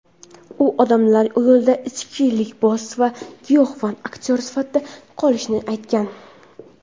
u odamlar yodida ichkilikboz va giyohvand aktyor sifatida qolishini aytgan.